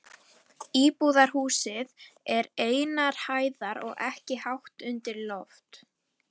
Íbúðarhúsið er einnar hæðar og ekki hátt undir loft.